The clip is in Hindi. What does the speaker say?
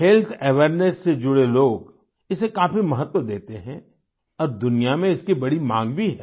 हेल्थ अवेयरनेस से जुड़े लोग इसे काफी महत्व देते हैं और दुनिया में इसकी बड़ी मांग भी है